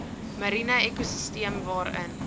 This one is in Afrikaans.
mariene ekosisteem waarin